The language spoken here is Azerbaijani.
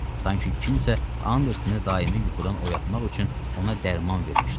Sanki kimsə Andersonu daimi yuxudan oyatmaq üçün ona dərman vermişdi.